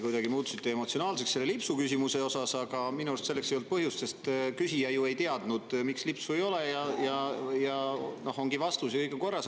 Te muutusite emotsionaalseks selle lipsuküsimuse tõttu, aga minu arust selleks ei olnud põhjust, sest küsija ju ei teadnud, miks lipsu ei ole, ja nüüd ongi vastus olemas ja kõik on korras.